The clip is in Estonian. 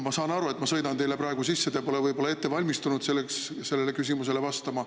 Ma saan aru, et ma sõidan teile praegu sisse, te pole võib-olla valmistunud sellele küsimusele vastama.